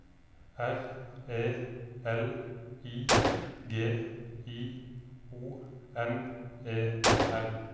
R E L I G I O N E R